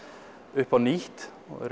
upp á nýtt og í